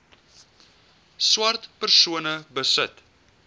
swart persone besit